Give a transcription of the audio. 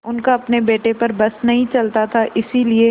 उनका अपने बेटे पर बस नहीं चलता था इसीलिए